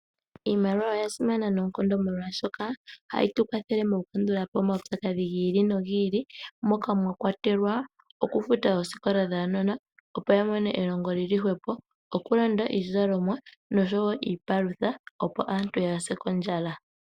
Iimaliwa oyasimana noonkondo molwaashoka ohayi tukwathele mokukandulapo omawu pyakadhi giili nogiili, moka mwakwatelwa, okufuta oosikola dhaanona, opo yamone elongo lili hwepo. Okulanda iizalomwa noshowo iipalutha opo aantu yaase kondjala.